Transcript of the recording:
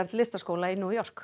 listaskóla í New York